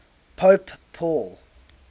pope paul